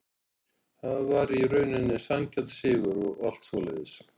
Þetta var í rauninni sanngjarn sigur og allt svoleiðis.